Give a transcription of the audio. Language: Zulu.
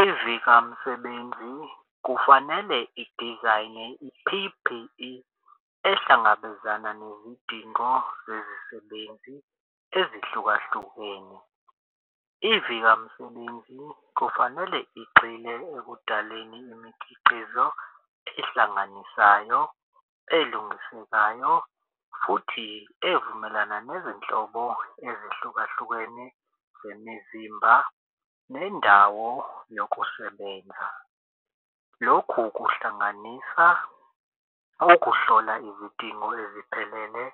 Ezikamsebenzi kufanele idizayine i-P_P_E ehlangabezana nezidingo zezisebenzi ezihlukahlukene. Ivika msebenzi kufanele igxile ekudaleni imikhiqizo ehlanganisayo elungisekayo futhi evumelana nezinhlobo ezehlukahlukene zemizimba nendawo yokusebenza. Lokhu kuhlanganisa ukuhlola izidingo eziphelele,